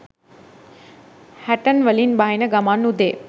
හැටන් වලින් බහින ගමන් උදේ